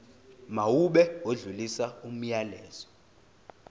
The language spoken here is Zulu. mawube odlulisa umyalezo